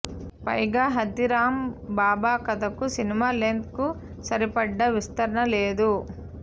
పైగా హాథీరామ్ బాబా కథ కు సినిమా లెంగ్త్ కు సరిపడా విస్తరణ లేదు